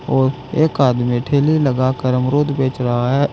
और एक आदमी ठेली लगाकर अमरुद बेच रहा है।